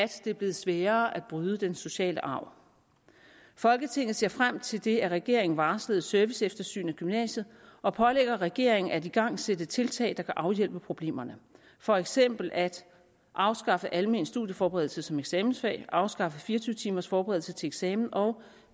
det er blevet sværere at bryde den sociale arv folketinget ser frem til det af regeringen varslede serviceeftersyn af gymnasiet og pålægger regeringen at igangsætte tiltag der kan afhjælpe problemerne for eksempel at afskaffe almen studieforberedelse som eksamensfag afskaffe 24timers forberedelse til eksamen og